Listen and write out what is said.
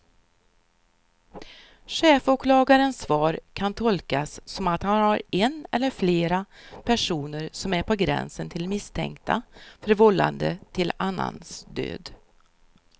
Chefsåklagarens svar kan tolkas som att han har en eller flera personer som är på gränsen till misstänkta för vållande till annans död.